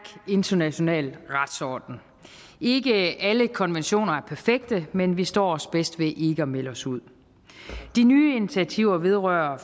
international retsorden ikke alle konventioner er perfekte men vi står os bedst ved ikke at melde os ud de nye initiativer vedrørende